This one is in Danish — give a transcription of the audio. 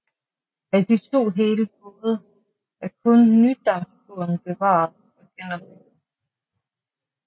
Af de to hele både er kun Nydambåden bevaret og genopbygget